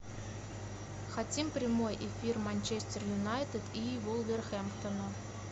хотим прямой эфир манчестер юнайтед и вулверхэмптона